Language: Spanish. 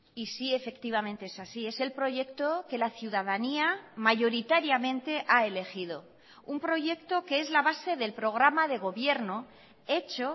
y sí efectivamente es así es el proyecto que la ciudadanía mayoritariamente ha elegido un proyecto que es la base del programa de gobierno hecho